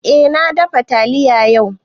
Eh na dafa taliya yau